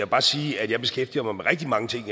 bare sige at jeg beskæftiger mig med rigtig mange ting